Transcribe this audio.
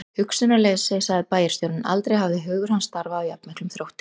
Hugsunarleysi sagði bæjarstjórinn, en aldrei hafði hugur hans starfað af jafn miklum þrótti.